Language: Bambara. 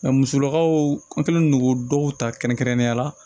musolakaw an kɛlen don k'o dɔw ta kɛrɛnkɛrɛnnenya la